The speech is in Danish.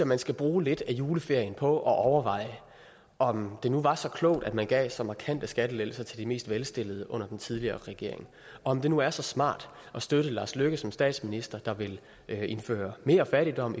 man skal bruge lidt af juleferien på at overveje om det nu var så klogt at man gav så markante skattelettelser til de mest velstillede under den tidligere regering og om det nu er så smart at støtte lars løkke rasmussen som statsminister der vil indføre mere fattigdom